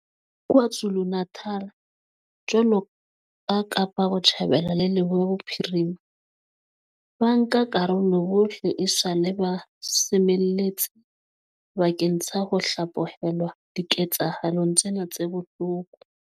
KwaZulu-Natal, jwaloka Kapa Botjhabela le Leboya Bophirima, bankakarolo bohle esale ba semelletse bakeng sa ho hlaphohelwa diketsahalong tsena tse bohloko.